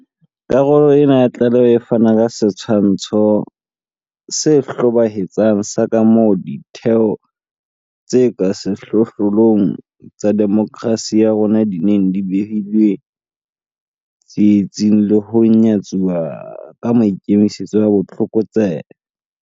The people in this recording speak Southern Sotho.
Karolo ena ya tlaleho e fana ka setshwantsho se hlobaetsang sa kamoo ditheo tse ka sehlohlolong tsa demokerasi ya rona di neng di behilwe tsietsing le ho nyatsuwa ka maikemisetso a botlokotsebe.